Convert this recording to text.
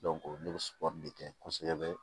ne bɛ sugɔri de kɛ kosɛbɛ